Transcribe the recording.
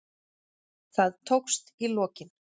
Það tókst í lokin.